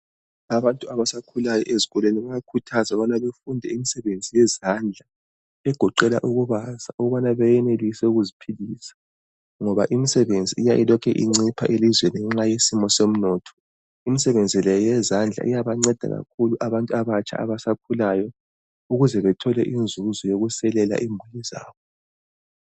Abantu abasakhukayo ezikolweni bayakhuthazwa ukuba befunde ukwenza imisebenzi yezandla egoqela ukubaza ukubana benelise ukuziphilisa. Ngoba imisebenzi iya ilokhe incipha elizweni ngenxa yesimo somnotho. Imisebenzi layo eyesandla iyabanceda kakhulu abantu abatsha abasakhulayo ukuze bethole inzuzo yokuselela imuli zabo.